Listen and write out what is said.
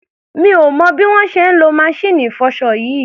Mi ò mọ̀ bí wọ́n ṣe ń lo maṣíìnì ìfọṣọ yìí.